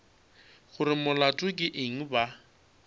gore molato ke eng ba